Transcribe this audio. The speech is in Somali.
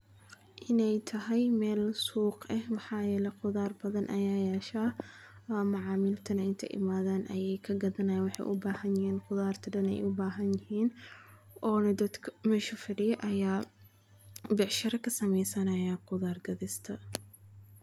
In ey tahay meel suuq eh maxaa yele qudhaar badha ayaa yashaa oo macamiltana in ey imadhaan ayee kagadhanaya waxey ubaahan yixinnqudhaarta dan eey ubaahan yixin oona dadka meesha fadiyo ayaa becshiro kasumeysanaya qudhaar gadhista.